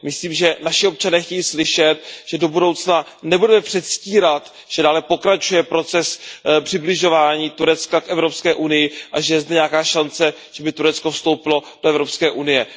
Myslím, že naši občané chtějí slyšet, že do budoucna nebudeme předstírat, že dále pokračuje proces přibližování Turecka k Evropské unii a že je zde nějaká šance, že by Turecko vstoupilo do Evropské unie.